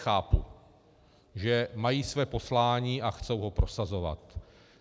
Chápu, že mají své poslání a chtějí ho prosazovat.